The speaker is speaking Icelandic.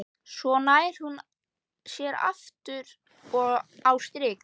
Svo nær hún sér aftur á strik.